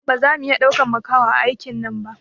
Baza mu iya ɗaukan makaho a aikin nan ba